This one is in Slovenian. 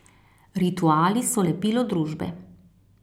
Rituali so lepilo družbe.